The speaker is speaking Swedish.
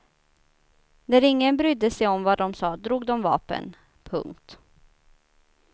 När ingen brydde sig om vad de sa drog de vapen. punkt